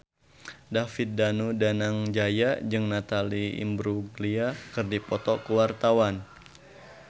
David Danu Danangjaya jeung Natalie Imbruglia keur dipoto ku wartawan